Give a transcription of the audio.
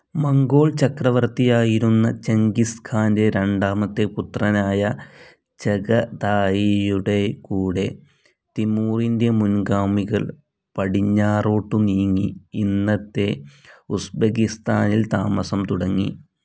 Mongol ചക്രവർത്തിയായിരുന്ന Genghis ഖാന്റെ രണ്ടാമത്തെ പുത്രനായ ചഗതായിയുടെകൂടെ തിമൂറിന്റെ മുൻ‌ഗാമികൾ പടിഞ്ഞാറോട്ടു നീങ്ങി ഇന്നത്തെ ഉസ്ബെകിസ്താനിൽ താമസം തുടങ്ങി.